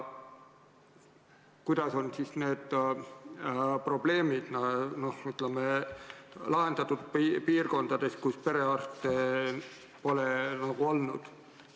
Kuidas on need probleemid lahendatud piirkondades, kus perearsti pole?